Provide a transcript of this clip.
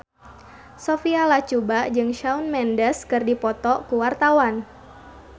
Sophia Latjuba jeung Shawn Mendes keur dipoto ku wartawan